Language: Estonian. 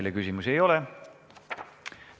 Teile küsimusi ei ole.